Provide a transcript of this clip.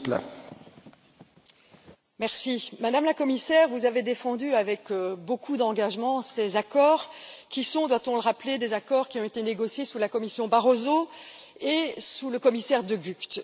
Monsieur le Président, Madame la Commissaire, vous avez défendu avec beaucoup d'engagement ces accords qui sont, doit on le rappeler, des accords qui ont été négociés sous la Commission Barroso et sous le commissaire De Gucht.